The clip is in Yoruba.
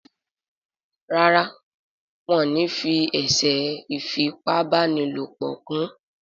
Ràrá wón ní fí eṣe ifi ipá báni lọpọ kún.